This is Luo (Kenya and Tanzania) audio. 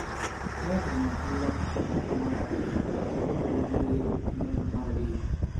kae to Nyachira (chi ng'ato mar ariyo) ka iluwe gi Reru (chi ng'ato mar adek),